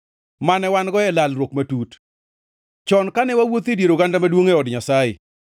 mane wan-go gi lalruok matut chon kane wawuotho e dier oganda maduongʼ e od Nyasaye.